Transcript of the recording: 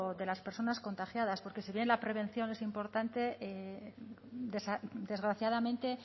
de las personas contagiadas porque si bien la prevención es importante desgraciadamente